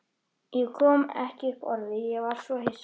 Ég kom ekki upp orði, ég var svo hissa.